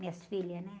Minhas filhas, né?